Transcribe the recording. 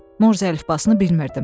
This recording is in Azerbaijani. Morze əlifbasını bilmirdim.